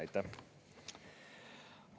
Aitäh!